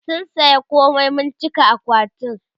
mun saya komai mun cika akwatin